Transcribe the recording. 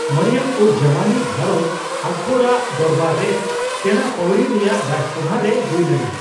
ᱢᱚᱨᱤᱭᱚᱢᱼᱩᱡᱽᱼᱡᱟᱢᱟᱱᱤ ᱜᱷᱟᱸᱨᱚᱡᱽ ᱟᱠᱵᱚᱨ ᱟᱜ ᱫᱚᱨᱵᱟᱨ ᱨᱮ ᱥᱮᱸᱬᱟ ᱯᱟᱣᱲᱤ ᱨᱮᱭᱟᱜ ᱨᱟᱡᱽ ᱥᱚᱵᱷᱟ ᱨᱮ ᱦᱩᱭ ᱞᱮᱱᱟ ᱾